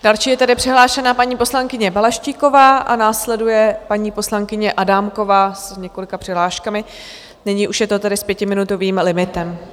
Další je tedy přihlášena paní poslankyně Balaštíková a následuje paní poslankyně Adámková s několika přihláškami, nyní už je to tedy s pětiminutovým limitem.